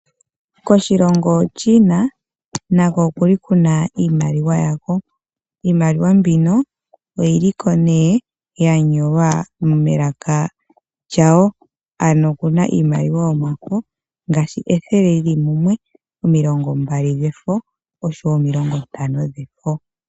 Koshilongo Chiina nako okuna iimaliwa yako. Iimaliwa mbino oyili ko yanyolwa melaka lyawo. Okuna iimaliwa yomafo ngaashi ethele lili mumwe, omilongombali dhefo oshowo omilongo ntano dhefo.